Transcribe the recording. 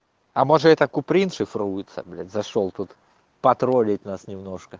а может это куприн шифруется блять зашёл тут потроллить нас немножко